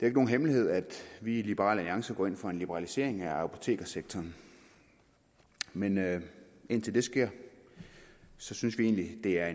ikke nogen hemmelighed at vi i liberal alliance går ind for en liberalisering af apotekssektoren men indtil det sker synes vi egentlig at det er